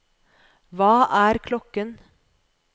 hva er klokken